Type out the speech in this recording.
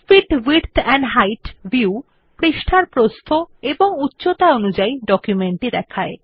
fit width and height view পৃষ্ঠার প্রস্থ ও উচ্চতা অনুসারে ডকুমেন্টটি দেখায়